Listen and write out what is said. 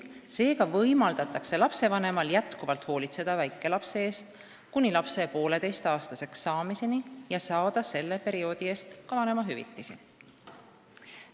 Seega võimaldatakse lapsevanemal endiselt hoolitseda väikelapse eest kuni lapse 1,5-aastaseks saamiseni ja saada selle perioodi eest ka vanemahüvitist.